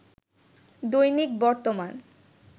দৈনিক বর্তমান